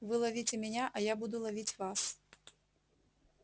вы ловите меня а я буду ловить вас